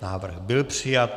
Návrh byl přijat.